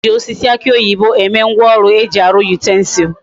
E ji osisi aki oyibo eme ngwa oru eji aru utensils